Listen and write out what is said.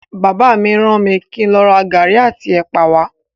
Bàbá mi ràn mí kín lọ ra garri àti ẹ̀pà wa.